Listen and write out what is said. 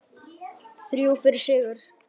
Þrjú stig fyrir sigur